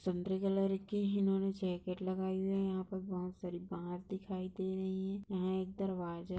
संतरे कलर की इन्होंने जैकेट लगाए हुए हैं। यहाँ पर बहुत सारी बाट दिखाई दे रही है। यहाँ एक दरवाजा --